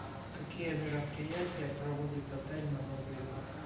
какие мероприятия проводит отель на новый год